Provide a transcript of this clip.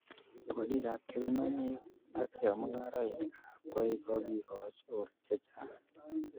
Bolikap kebenonik ak chemungaraekab koik kokikoch or chechang